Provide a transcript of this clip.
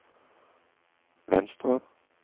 venstre